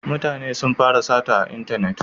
Mutane sun fara sata a intanet